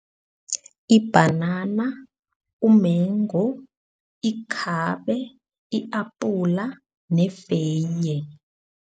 Ibhanana, umengu, ikhabe, i-apula nefeye.